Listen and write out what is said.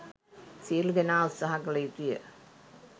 සියලු දෙනා උත්සාහ කළ යුතුය.